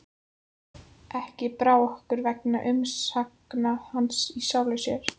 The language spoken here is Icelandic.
Ekki brá okkur vegna umsagna hans í sjálfu sér.